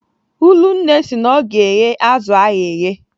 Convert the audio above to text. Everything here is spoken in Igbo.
Ụlụnne sị na ọ ga-eghe azụ ahụ eghe.